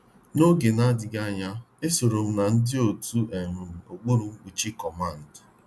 N'oge na adịghị anya, esorom na ndị otu um okpuru mkpuchi comando.